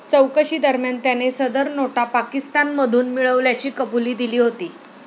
चौकशीदरम्यान त्याने सदर नोटा पाकिस्तानमधून मिळविल्याची कबुली दिली होती.